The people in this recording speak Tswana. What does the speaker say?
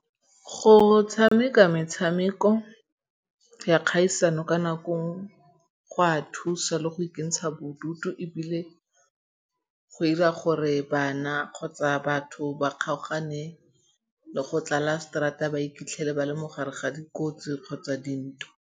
Go tshameka metshameko ya kgaisano ka nako go a thusa le go ikentsha bodutu ebile go 'ira gore bana kgotsa batho ba kgaogane le go tlala straata ba iphitlhele ba le mo gare ga dikotsi kgotsa dintwa.